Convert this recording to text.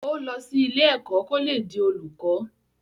Ó lọ sí ilé ẹ̀kọ́ kó le di olùkọ́